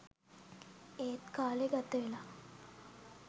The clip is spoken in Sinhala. එත් කාලේ ගතවෙලා